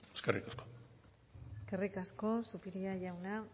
eskerrik asko eskerrik asko zupiria jauna